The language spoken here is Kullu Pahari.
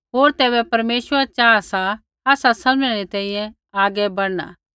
होर तैबै परमेश्वरै चाहा सा आसा समझ़णै री तैंईंयैं आगै बढ़ना